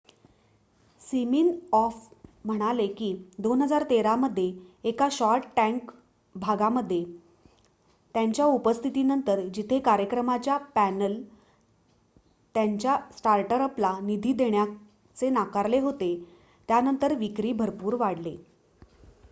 Siminoff म्हणाले कि 2013 मध्ये एका शार्क टॅंक भागामध्ये त्यांच्या उपस्थितीनंतर जिथे कार्यक्रमाच्या पॅनल त्यांच्या स्टार्टअपला निधी देण्याचे नाकारले होते त्यानंतर विक्री भरपूर वाढली